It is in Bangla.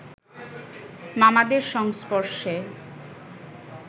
মামাদের সংস্পর্শে